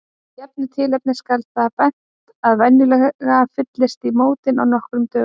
Af gefnu tilefni skal á það bent að venjulega fyllist í mótin á nokkrum dögum.